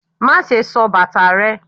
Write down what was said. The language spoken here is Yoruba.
Maṣe sò bata rẹ!